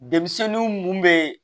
Denmisɛnnin mun bɛ